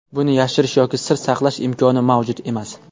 Buni yashirish yoki sir saqlash imkoni mavjud emas.